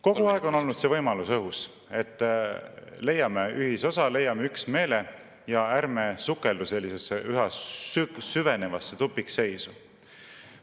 Kogu aeg on olnud see võimalus õhus, et leiame ühisosa, leiame üksmeele ja ärme sukeldume sellisesse üha süvenevasse tupikseisu.